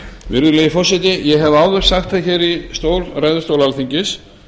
virðulegi forseti ég hef áður sagt það hér í ræðustól alþingis